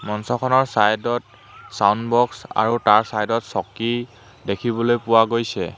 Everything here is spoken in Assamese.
মঞ্চখনৰ চাইদত ছাউণ্ড বক্স আৰু তাৰ চাইদত চকী দেখিবলৈ পোৱা গৈছে।